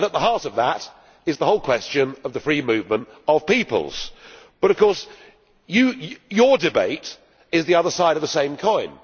At the heart of that is the whole question of the free movement of peoples, but your debate is the other side of the same coin.